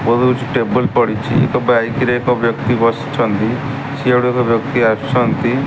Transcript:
ବୋହୁତ୍ ଟେବୁଲ୍ ପଡ଼ିଚି ଏକ ବାଇକ୍ ରେ ଏକ ବ୍ୟକ୍ତି ବସିଛନ୍ତି ସିଆଡ଼ୁ ଏକ ବ୍ୟକ୍ତି ଆସୁଛନ୍ତି।